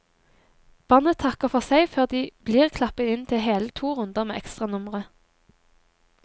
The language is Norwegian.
Bandet takker for seg før de blir klappet inn til hele to runder med ekstranumre.